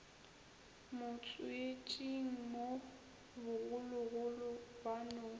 motswetšing mo bogologolo ba no